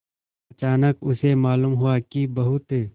अचानक उसे मालूम हुआ कि बहुत